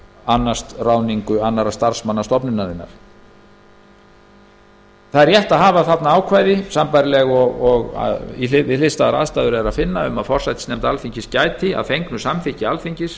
annast ráðningu annarra starfsmanna stofnunarinnar rétt er að hafa þarna sambærileg ákvæði og er að finna við hliðstæðar aðstæður um að forsætisnefnd alþingis gæti að fengnu samþykki alþingis